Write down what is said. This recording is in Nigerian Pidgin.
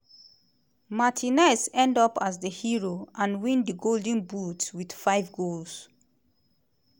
martinez end up as di hero - and win di golden boot wit five goals.